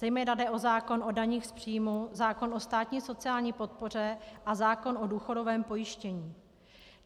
Zejména jde o zákon o daních z příjmů, zákon o státní sociální podpoře a zákon o důchodovém pojištění.